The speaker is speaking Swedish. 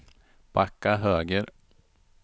backa höger